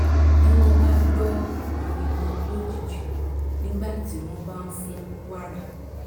bí wọ́n bá gbọ́ ariwo lójijì nígbà tí wọ́n bá fún wàrà